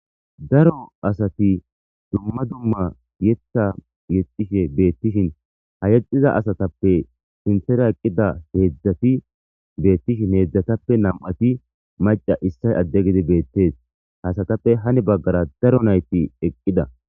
Daro asati dumma dumma yetta yexxishe beettishin ha yexxiza asatappe sintera eqqida heedzdzati beettishin heedzdzatappe nam7ati maca issa adde gidi beettees hasatappe hani baggara daro nayti eqqida.